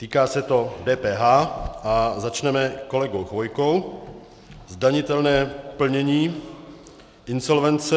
Týká se to DPH a začneme kolegou Chvojkou, zdanitelné plnění, insolvence.